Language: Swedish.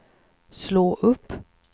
slå upp